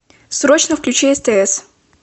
срочно включи стс